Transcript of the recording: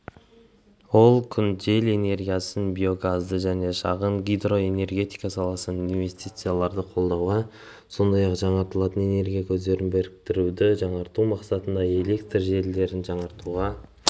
ол күн жел энергиясын биогазды және шағын гидроэнергетика саласындағы инвестицияларды қолдауға сондай-ақ жаңартылатын энергия көздерін біріктіруді жақсарту мақсатында электр желілерін жаңғыртуға